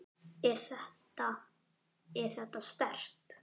Er þetta. er þetta sterkt?